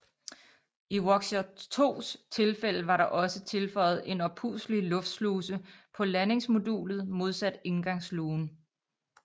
I Voskhod 2s tilfælde var der også tilføjet en oppustelig luftsluse på landingsmodulet modsat indgangslugen